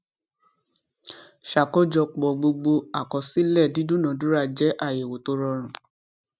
ṣàkójọpọ gbogbo àkọsílẹ dídúnadúrà jẹ àyẹwò tó rọrùn